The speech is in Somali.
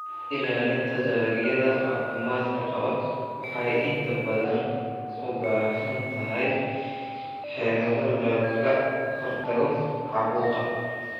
Ilaalinta dalagyada caafimaadka qaba waxay inta badan u baahan tahay xeelado lagaga hortagayo caabuqa.